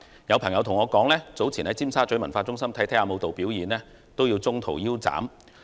有朋友告訴我，早前在尖沙咀文化中心觀看舞蹈表演時，表演也要中途腰斬。